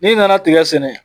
N'i nana tigɛ sɛnɛ